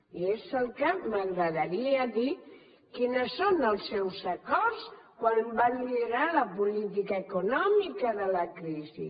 i és el que m’agradaria dir quins són els seus acords quan va liderar la política econòmica de la crisi